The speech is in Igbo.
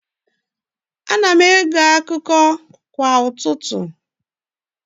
Ana m ege akụkọ kwa ụtụtụ.